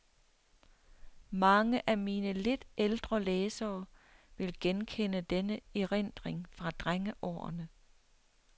Mange af mine lidt ældre læsere vil genkende denne erindring fra drengeårene.